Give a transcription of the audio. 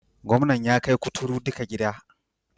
Gwamnan ya kai kuturu duka gida.